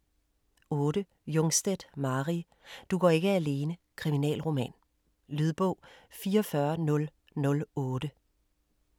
8. Jungstedt, Mari: Du går ikke alene: kriminalroman Lydbog 44008